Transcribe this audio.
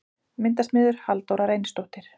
Myndasmiður: Halldóra Reynisdóttir.